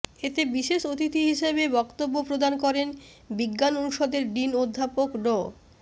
এতে বিশেষ অতিথি হিসেবে বক্তব্য প্রদান করেন বিজ্ঞান অনুষদের ডিন অধ্যাপক ড